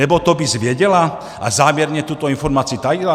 Nebo to BIS věděla a záměrně tuto informaci tajila?